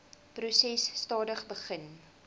proses stadig begin